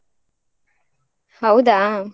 ಹೌದಾ?